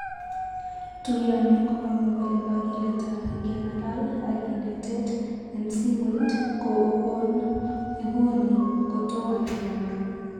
Tuyani kokamwa kole kakilet ap ngekalal akinetet en simoit ko okon iguni ko toma ngeyor.